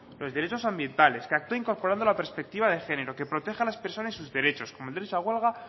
los derechos ambientales que actúa incorporando la perspectiva de género que protege a las personas y sus derechos como el derecho a huelga